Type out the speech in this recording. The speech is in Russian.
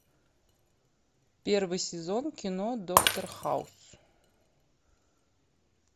первый сезон кино доктор хаус